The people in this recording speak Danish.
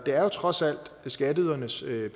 er jo trods alt skatteydernes